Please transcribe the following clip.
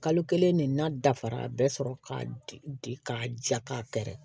Kalo kelen de n'a dafara bɛɛ sɔrɔ ka di k'a ja ka kɛrɛ